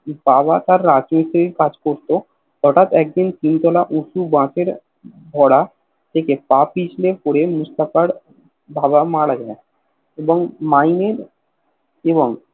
বাবা তার রাজমিস্তিরি কাজ করত হটাৎ একদিন তিন তোলা উচু বাসের ঘোড়া থেকে পিছলে পরে মুস্তাফার বাবা মারা যায় এবং মাইনের এবং